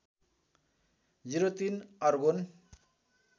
०३ argon